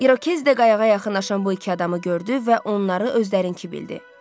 İrokez də qayığa yaxınlaşan bu iki adamı gördü və onları özlərinki bildi.